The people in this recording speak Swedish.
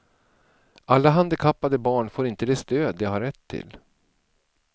Alla handikappade barn får inte det stöd de har rätt till.